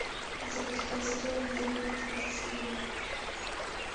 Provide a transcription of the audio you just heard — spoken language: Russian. запускай сериал я зомби третий сезон